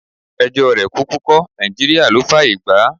Ẹjọ́ rẹ̀ kúkú kọ́, Nàìjíríà ló fáàyè gbà á.